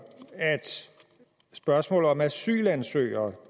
at spørgsmålet om asylansøgere